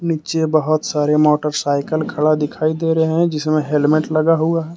नीचे बहुत सारे मोटरसाइकल खड़ा दिखाई दे रहे हैं। जिसमें हेलमेट लगा हुआ है।